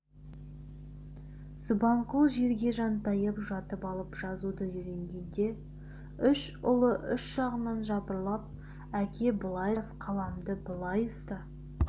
субанқұл жерге жантайып жатып алып жазуды үйренгенде үш ұлы үш жағынан жапырлап әке былай жаз қаламды былай ұста